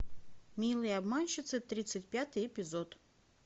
милые обманщицы тридцать пятый эпизод